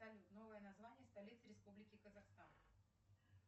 салют новое название столицы республики казахстан